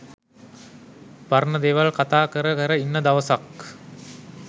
පරණ දේවල් කතා කර කර ඉන්න දවසක්